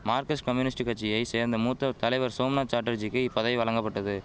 Marxist communist கட்சியை சேர்ந்த மூத்த தலைவர் சோம்நாத் சாட்டர்ஜிக்கி இப்பதவி வழங்கபட்டது